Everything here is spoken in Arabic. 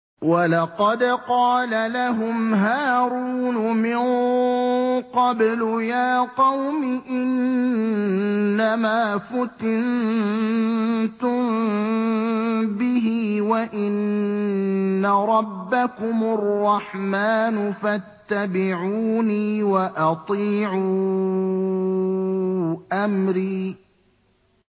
وَلَقَدْ قَالَ لَهُمْ هَارُونُ مِن قَبْلُ يَا قَوْمِ إِنَّمَا فُتِنتُم بِهِ ۖ وَإِنَّ رَبَّكُمُ الرَّحْمَٰنُ فَاتَّبِعُونِي وَأَطِيعُوا أَمْرِي